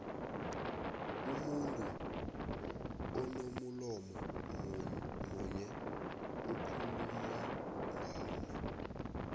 umuntu unomulomo munyo okhuulumangano